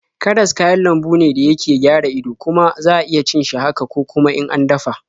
Karas kayan lambu ne da yake gara ido, kuma za iya cin shi haka ko kuma in an dafa.